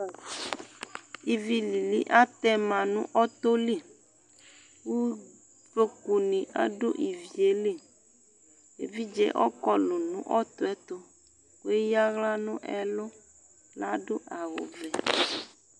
Ivi lili atɛ ma nʋ ɔtɔ li Uvlokunɩ adʋ ivi yɛ li Evidze ɔkɔlʋ nʋ ɔtɔ yɛ tʋ kʋ eyǝ aɣla nʋ ɛlʋ Adʋ awʋvɛ